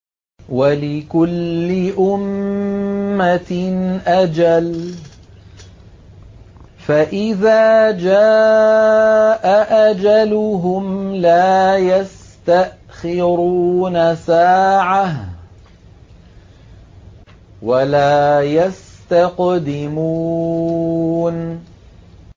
وَلِكُلِّ أُمَّةٍ أَجَلٌ ۖ فَإِذَا جَاءَ أَجَلُهُمْ لَا يَسْتَأْخِرُونَ سَاعَةً ۖ وَلَا يَسْتَقْدِمُونَ